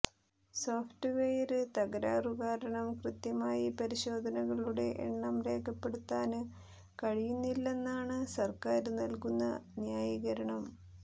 soft ware തകരാറുകാരണം കൃത്യമായി പരിശോധനകളുടെ എണ്ണം രേഖപ്പെടുത്താന് കഴിയുന്നില്ലെന്നാണ് സര്ക്കാര് നല്കുന്ന ന്യായീകരണം